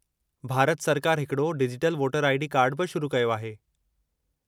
भारत सरकार हिकिड़ो digital voter ID कार्डु बि शुरू कयो आहे।